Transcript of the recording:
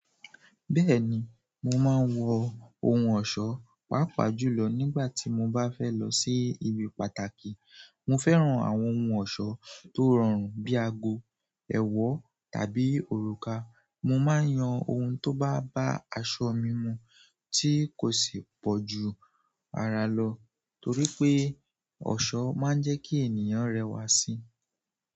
Bẹ́ẹ̀ni, mo máa ń wọ ohun ọ̀ṣọ́ pàápàá jùlọ nígbà tí mo bá fẹ́ lọ sí ibi pàtàkì. Mo fẹ́ràn àwọn ohun ọ̀ṣọ́ tó rọrùn bíi ago, ẹ̀wọ́ tàbí òrùka. Mo máa ń yan ohun tó bá bá aṣọ mi mu tí kò sì pọ̀ ju ara lọ torí pé ọ̀ṣọ́ máa ń jẹ́ kí ènìyàn rẹwà síi.